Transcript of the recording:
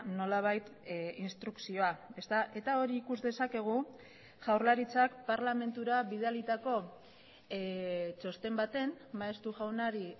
nolabait instrukzioa eta hori ikus dezakegu jaurlaritzak parlamentura bidalitako txosten baten maeztu jaunari